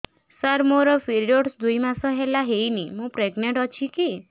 ସାର ମୋର ପିରୀଅଡ଼ସ ଦୁଇ ମାସ ହେଲା ହେଇନି ମୁ ପ୍ରେଗନାଂଟ ଅଛି କି